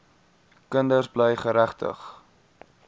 kinders bly geregtig